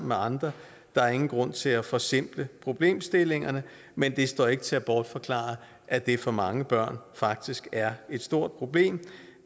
med andre der er ingen grund til at forsimple problemstillingerne men det står ikke til at bortforklare at det for mange børn faktisk er et stort problem